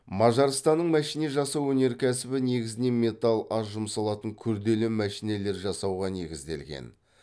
мажарстанның мәшине жасау өнеркәсібі негізінен металл аз жұмсалатын күрделі мәшинелер жасауға негізделген